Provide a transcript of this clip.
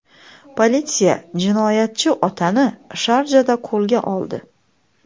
Politsiya jinoyatchi otani Sharjada qo‘lga oldi.